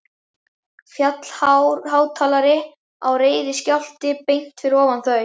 Fjallhár hátalari á reiðiskjálfi beint fyrir ofan þau.